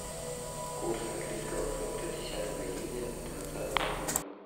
курс английского фунта десятого июня двадцатого года